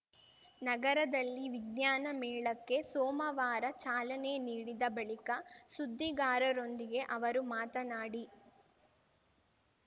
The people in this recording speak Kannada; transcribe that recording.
ನಗರದಲ್ಲಿ ವಿಜ್ಞಾನ ಮೇಳಕ್ಕೆ ಸೋಮವಾರ ಚಾಲನೆ ನೀಡಿದ ಬಳಿಕ ಸುದ್ದಿಗಾರರೊಂದಿಗೆ ಅವರು ಮಾತನಾಡಿ